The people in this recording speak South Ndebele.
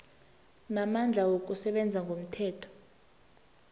namandla wokusebenza ngomthetho